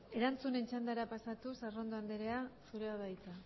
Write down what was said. erantzunen txandara pasatuz arrondo andrea zurea da hitza